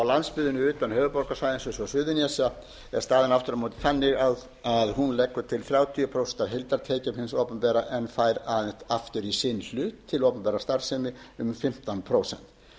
landsbyggðinni utan höfuðborgarsvæðisins eins og suðurnesja er staðan aftur á móti þannig að hún leggur til þrjátíu prósent af heildartekjum hins opinbera en fær aðeins aftur í sinn hlut til opinberrar starfsemi um fimmtán prósent